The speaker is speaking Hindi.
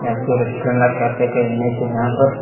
ये कोई रेस्टोरेंट या कैफे का इमेज है जहां पर--